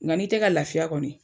Nga ni te ka lafiya kɔni